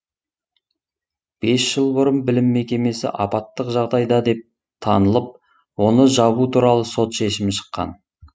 бес жыл бұрын білім мекемесі апаттық жағдайда деп танылып оны жабу туралы сот шешімі шыққан